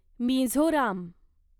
Mizoram